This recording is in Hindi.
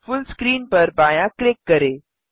फुल स्क्रीन पर बायाँ क्लिक करें